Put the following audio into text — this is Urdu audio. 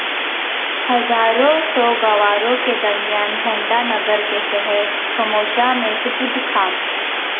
ہزاروں سوگواروں کے درمیان جھنڈانگر کے شہر خموشاں میں سپرد خاک